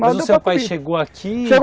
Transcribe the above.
Mas o seu pai chegou aqui?